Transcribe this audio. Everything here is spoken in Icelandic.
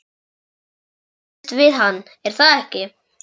Þið kannist við hann, er það ekki?